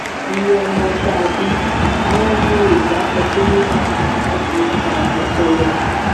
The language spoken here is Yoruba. iye ọmọ tá a bí àwọn yorùbá sọ pé a kì í ka ọmọ fọlọ́mọ